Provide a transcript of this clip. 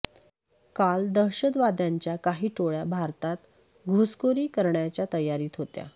काल दहशतवाद्यांच्या काही टोळ्या भारतात घुसखोरी करण्याच्या तयारीत होत्या